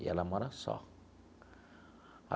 E ela mora só.